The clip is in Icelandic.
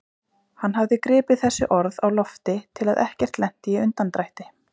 Hann hafði gripið þessi orð á lofti til að ekkert lenti í undandrætti.